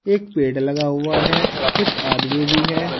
एक पेड़ लगा हुआ है कुछ आदमी भी है।